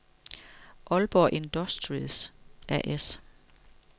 Aalborg Industries A/S